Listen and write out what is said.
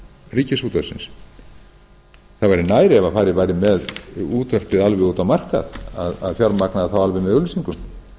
ríkisútvarpsins það væri nær ef farið væri með útvarpið alveg út á markað að fjármagna það þá alveg með auglýsingum